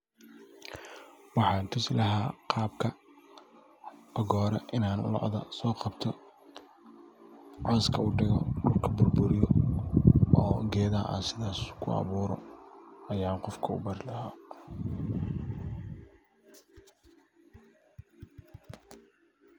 Waxan tusi laha qabka ogo hore in an loda so qabto, coska u digo dulka bur buriyo oo geedhaha sithas ku aburo aya qofka u bari laha.